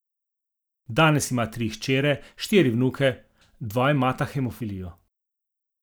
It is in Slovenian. Danes ima tri hčere, štiri vnuke, dva imata hemofilijo.